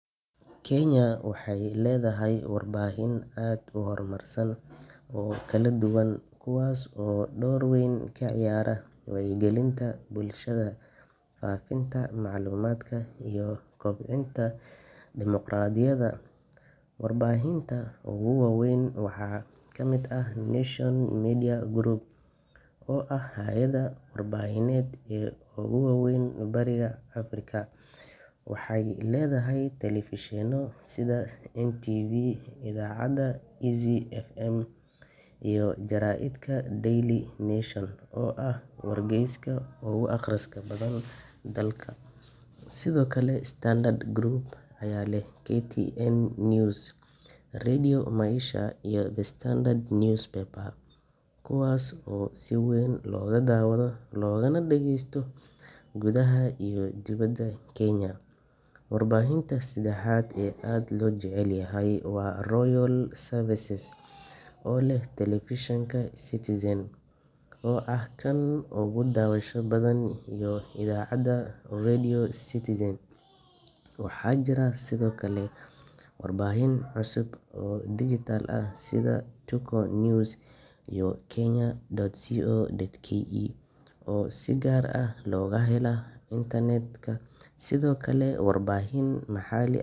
Kenya waxay leedahay warbaahin aad u horumarsan oo kala duwan, kuwaas oo door weyn ka ciyaara wacyigelinta bulshada, faafinta macluumaadka, iyo kobcinta dimuqraadiyadda. Warbaahinta ugu waaweyn waxaa ka mid ah Nation Media Group, oo ah hay’adda warbaahineed ee ugu weyn bariga Afrika. Waxay leedahay telefishinno sida NTV, idaacadaha Easy FM iyo jaraa’idka Daily Nation oo ah wargeyska ugu akhriska badan dalka. Sidoo kale, Standard Group ayaa leh KTN News, Radio Maisha, iyo The Standard Newspaper, kuwaas oo si weyn looga daawado loogana dhagaysto gudaha iyo dibadda Kenya. Warbaahinta saddexaad ee aad loo jecel yahay waa Royal Media Services, oo leh telefishinka Citizen TV, oo ah kan ugu daawashada badan, iyo idaacadda Radio Citizen. Waxaa jira sidoo kale warbaahin cusub oo dijitaal ah sida Tuko News iyo Kenyan.co.ke oo si gaar ah looga helo internet-ka. Sidoo kale, warbaahin maxall.